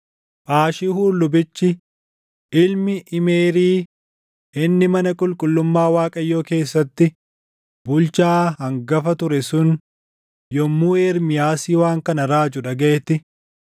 Phaashihuur lubichi, ilmi Imeerii inni mana qulqullummaa Waaqayyoo keessatti bulchaa hangafa ture sun yommuu Ermiyaasii waan kana raaju dhagaʼetti,